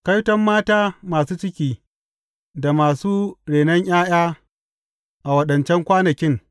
Kaiton mata masu ciki da mata masu renon ’ya’ya a waɗancan kwanakin!